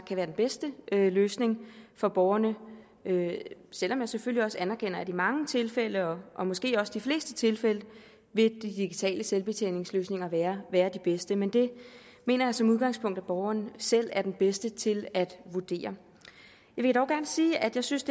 kan være den bedste løsning for borgerne selv om jeg selvfølgelig også anerkender at i mange tilfælde og måske også i de fleste tilfælde vil de digitale selvbetjeningsløsninger være være de bedste men det mener jeg som udgangspunkt at borgeren selv er den bedste til at vurdere jeg vil dog gerne sige at jeg synes